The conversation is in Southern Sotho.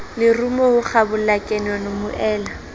lerumo ho kgabola kanono moela